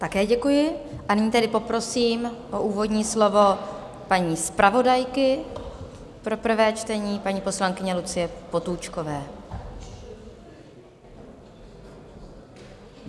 Také děkuji, a nyní tedy poprosím o úvodní slovo paní zpravodajku pro prvé čtení, paní poslankyni Lucii Potůčkovou.